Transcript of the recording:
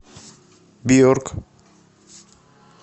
бьорк